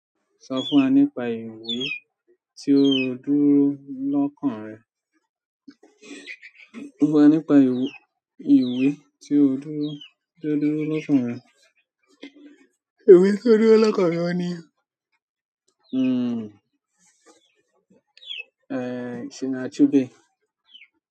Sọ fún wa nípa ìwé tí o dúró lọ́kàn rẹ. Sọ fún wa nípa ìwé, ìwé tí o dúró, tí ó dúró lọ́kàn rẹ. Ìwé tí ó dúró lọ́kàn mi ni. Uhm, ẹ́, Chinua Achebe.